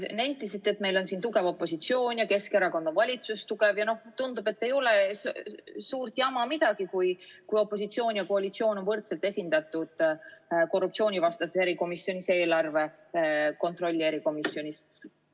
Te nentisite, et meil on tugev opositsioon ja Keskerakonna valitsus on tugev ja tundub, et ei ole suurt jama midagi, kui opositsioon ja koalitsioon on võrdselt esindatud korruptsioonivastases erikomisjonis ja eelarve kontrolli erikomisjonis.